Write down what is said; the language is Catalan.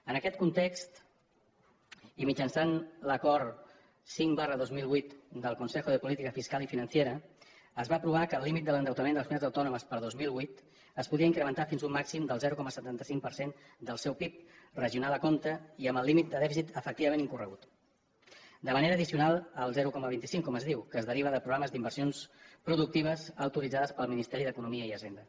en aquest context i mitjançant l’acord cinc dos mil vuit del consejo de política fiscal y financiera es va aprovar que el límit de l’endeutament de les comunitats autònomes per al dos mil vuit es podia incrementar fins a un màxim del zero coma setanta cinc per cent del seu pib regional a compte i amb el límit de dèficit efectivament incorregut de manera addicional al zero coma vint cinc com es diu que es deriva de programes d’inversions productives autoritzades pel ministeri d’economia i hisenda